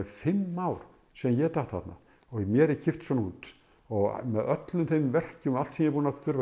fimm ár síðan ég datt þarna og mér er kippt svona út og með öllum þeim verkjum og allt sem ég er búinn að þurfa